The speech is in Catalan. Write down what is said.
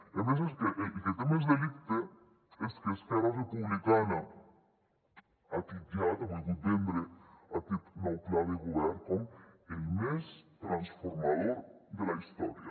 i a més és que el que té més delicte és que esquerra republicana ha titllat ha volgut vendre aquest nou pla de govern com el més transformador de la història